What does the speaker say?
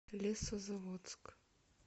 лесозаводск